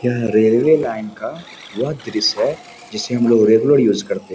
यह railway line का वह दृश्य है जिसे हमलोग रेगुलर यूज करते है।